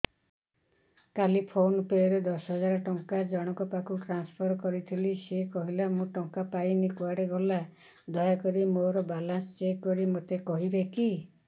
କାଲି PhonePe ରେ ଦଶ ହଜାର ଟଙ୍କା ଜଣକ ପାଖକୁ ଟ୍ରାନ୍ସଫର୍ କରିଥିଲି ସେ କହିଲା ମୁଁ ଟଙ୍କା ପାଇନି କୁଆଡେ ଗଲା ଦୟାକରି ମୋର ବାଲାନ୍ସ ଚେକ୍ କରି ମୋତେ କହିବେ କି